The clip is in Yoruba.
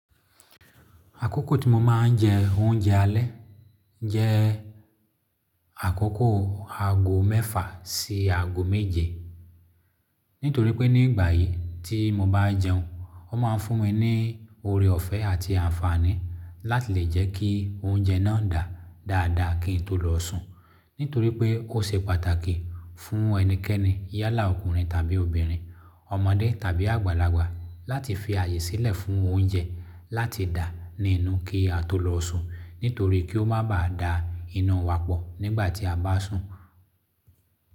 Àkókò tí mo máa ń jẹ oúnjẹ alẹ́ jẹ́ àkókò ago mẹ́fà sí ago méje. Nítorí pé nígbà yí tí mo bá jẹun, ó máa fún mi ní oore ọ̀fẹ́ àti àǹfààní láti lè jẹ́ kí oúnjẹ náà dà dáadáa kí n tó lọ sùn. Nítorí pé ó ṣe pàtàkì fún ẹnikẹ́ni yálà ọkùnrin tàbí obìnrin, ọmọdé tàbí àgbàlagbà láti fi ààyè sílẹ̀ fún oúnjẹ láti dà ní inú kí a tó lọ sùn. Nítorí kí ó má bàá dà inu wa pọ̀ nígbà tí a bá sùn.